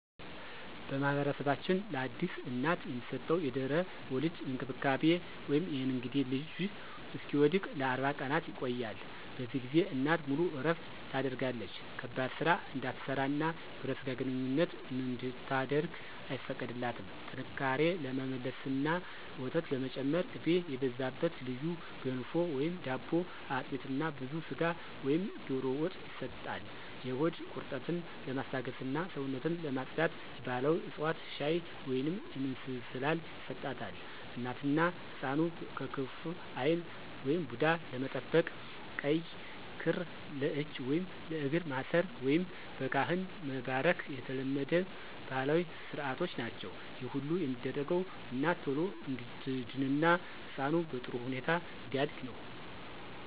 በማኅበረሰባችን ለአዲስ እናት የሚሰጠው የድህረ-ወሊድ እንክብካቤ (የእንግዴ ልጁ እስኪወድቅ) ለ40 ቀናት ይቆያል። በዚህ ጊዜ እናት ሙሉ እረፍት ታደርጋለች ከባድ ሥራ እንድትሠራና የግብረ ሥጋ ግንኙነት እንድታደርግ አይፈቀድላትም። ጥንካሬ ለመመለስና ወተት ለመጨመር ቅቤ የበዛበት ልዩ ገንፎ/ዳቦ፣ አጥሚት እና ብዙ ሥጋ ወይም ዶሮ ወጥ ይሰጣል። የሆድ ቁርጠትን ለማስታገስና ሰውነትን ለማፅዳት የባሕላዊ ዕፅዋት ሻይ ወይንም እንስላል ይሰጣታል። እናትና ሕፃኑን ከክፉ ዓይን (ቡዳ) ለመጠበቅ ቀይ ክር ለእጅ ወይም ለእግር ማሰር፣ ወይም በካህን መባረክ የተለመዱ ባሕላዊ ሥርዓቶች ናቸው። ይህ ሁሉ የሚደረገው እናት ቶሎ እንድትድንና ሕፃኑ በጥሩ ሁኔታ እንዲያድግ ነው።